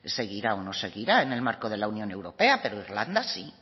seguirá o no seguirá en el marco de la unión europea pero irlanda sí